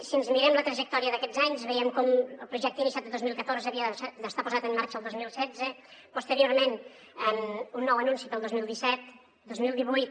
si ens mirem la trajectòria d’aquests anys veiem com el projecte iniciat el dos mil catorze havia d’estar posat en marxa el dos mil setze posteriorment un nou anunci per al dos mil disset dos mil divuit